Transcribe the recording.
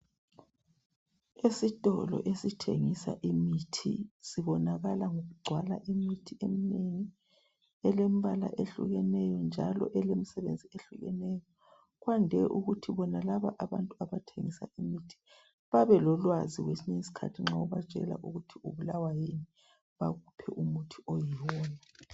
Isitolo esithengisa imithi sibonakala ngokugcwala imithi eminengi elembala ehlukeneyo njalo elomsebenzi ehlukeneyo kwande ukuthi bonalaba abathengisa imithi babe lolwazi kwesinye iskhathi nxa ubatshela ukuthi ubulawa yini, bakuphe umuthi oyiwona.